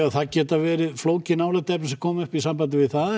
það geta verið flókin álitaefni sem koma upp í sambandi við það